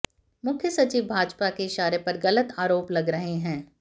मुख्य सचिव भाजपा के इशारे पर गलत आरोप लगा रहे हैं